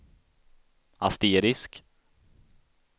asterisk